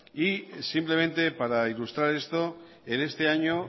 simplemente para ilustrar esto en este año